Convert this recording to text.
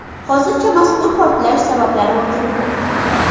Hozircha mazkur portlash sabablari o‘rganilmoqda.